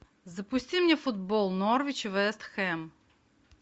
запусти мне футбол норвич вест хэм